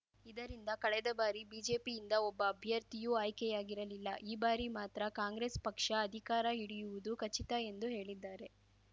ಇದರಿಂದ ಕಳೆದ ಬಾರಿ ಬಿಜೆಪಿಯಿಂದ ಒಬ್ಬ ಅಭ್ಯರ್ಥಿಯೂ ಆಯ್ಕೆಯಾಗಿರಲಿಲ್ಲ ಈ ಬಾರಿ ಮಾತ್ರ ಕಾಂಗ್ರೆಸ್‌ ಪಕ್ಷ ಅಧಿಕಾರ ಹಿಡಿಯುವುದು ಖಚಿತ ಎಂದು ಹೇಳಿದ್ದಾರೆ